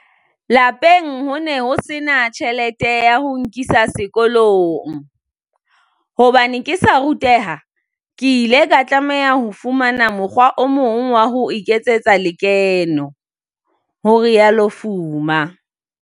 "Lapeng ho ne ho sena tjhelete ya ho nkisa sekolong. Hobane ke sa ruteha, ke ile ka tlameha ho fumana mokgwa o mong wa ho iketsetsa lekeno," ho rialo Fuma.